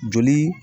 Joli